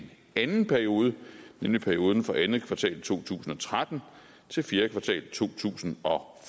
anden periode nemlig perioden for anden kvartal to tusind og tretten til fjerde kvartal to tusind og